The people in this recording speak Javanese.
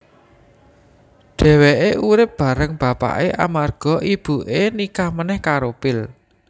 Dhéwéké urip bareng bapaké amarga ibuké nikah menèh karo Phil